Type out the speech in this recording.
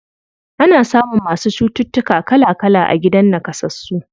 Ana samun masu cututtuka kala kala a gidan naƙasassu.